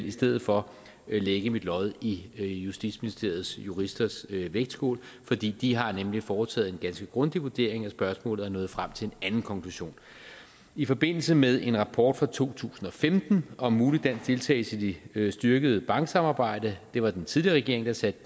i stedet for lægge mit lod i justitsministeriets juristers vægtskål for de har nemlig foretaget en ganske grundig vurdering af spørgsmålet og er nået frem til en anden konklusion i forbindelse med en rapport fra to tusind og femten om mulig dansk deltagelse i det styrkede banksamarbejde det var den tidligere regering der satte